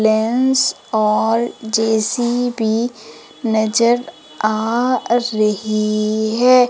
Lens और J C B नजर आ रही है।